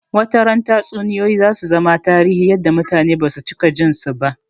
Wata ran Tatsuniyoyi zasu zama tarihi yadda mutane basu cika jin su ba